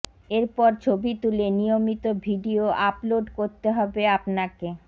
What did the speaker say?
এরপর ছবি তুলে নিয়মিত ভিডিও আপলোড করতে হবে আপনাকে